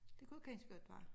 Det kunne ganske godt være